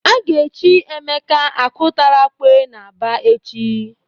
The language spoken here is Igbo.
A ga-echi Emeka Ọkụtarakwe n'Aba echi.